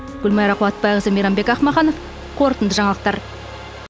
гүлмайра қуатбайқызы мейрамбек ақмаханов қорытынды жаңалықтар